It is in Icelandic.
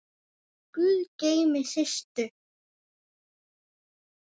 Guð geymi Systu.